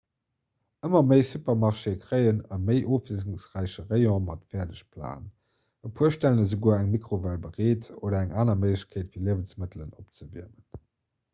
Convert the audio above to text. ëmmer méi supermarchée kréien e méi ofwiesselungsräiche rayon mat fäerdegplaten e puer stellen esouguer eng mikrowell bereet oder eng aner méiglechkeet fir liewensmëttel opzewiermen